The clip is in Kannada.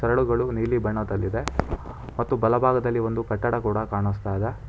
ಬೆಳುಗಳು ನೀಲಿ ಬಣ್ಣದಲ್ಲಿದೆ ಮತ್ತು ಬಲಭಾಗದಲ್ಲಿ ಒಂದು ಕಟ್ಟಡ ಕೂಡ ಕಾಣುಸ್ತಾ ಇದೆ.